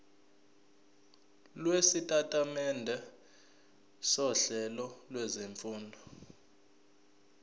lwesitatimende sohlelo lwezifundo